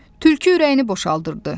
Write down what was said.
Tülkü ürəyini boşaldırdı.